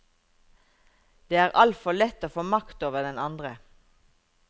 Det er altfor lett å få makt over den andre.